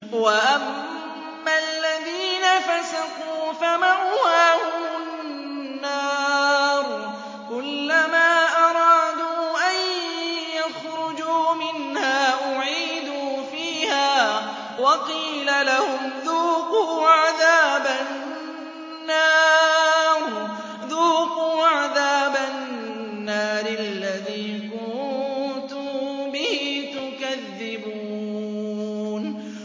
وَأَمَّا الَّذِينَ فَسَقُوا فَمَأْوَاهُمُ النَّارُ ۖ كُلَّمَا أَرَادُوا أَن يَخْرُجُوا مِنْهَا أُعِيدُوا فِيهَا وَقِيلَ لَهُمْ ذُوقُوا عَذَابَ النَّارِ الَّذِي كُنتُم بِهِ تُكَذِّبُونَ